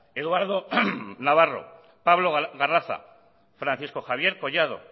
eduardo navarro pablo garraza francisco javier collado